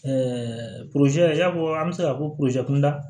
i y'a fɔ an bɛ se k'a fɔ ko kunda